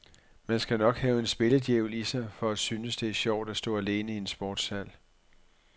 Man skal nok have en spilledjævel i sig, for at syntes, det er sjovt at stå alene i en sportshal.